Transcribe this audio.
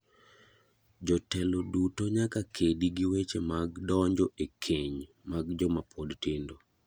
Jotelo duto nyaka kedi gi weche mag donjo e keny mag joma pod tindo.